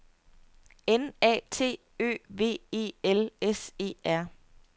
N A T Ø V E L S E R